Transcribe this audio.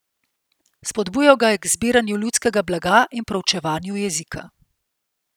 Spodbujal ga je k zbiranju ljudskega blaga in proučevanju jezika.